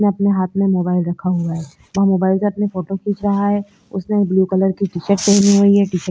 ये अपने हाथ में मोबाईल रखा हुआ है और मोबइल से अपने फोटो खींच रहा है उसने ब्लू कलर की टी शर्ट पहनी हुई है टी शर्ट --